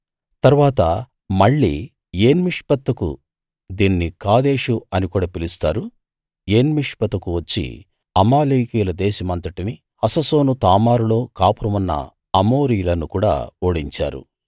తరువాత మళ్ళీ ఏన్మిష్పతుకు దీన్ని కాదేషు అనికూడా పిలుస్తారు వచ్చి అమాలేకీయుల దేశమంతటినీ హససోను తామారులో కాపురం ఉన్న అమోరీయులను కూడా ఓడించారు